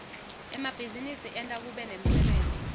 emabhizinisi enta kube nemsebenti